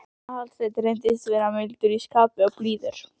Aðalsteinn reyndist vera mildur í skapi og blíður.